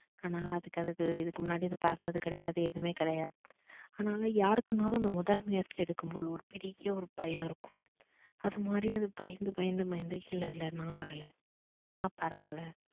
ஆனா அதுக்கு அதுக்கு இதுக்கு முன்னாடி அது பறந்தது கிடையாது எதுவுமே கிடையாது. அதுனால் யாருக்குணாலும் அந்த முதல் முயற்சி எடுக்கும் போது ஒரு பெரிய ஒரு பயம் இருக்கும் அது மாதிரி அது பயந்து பயந்து பயந்து இல்ல இல்ல நான் வரல நான் பறக்கல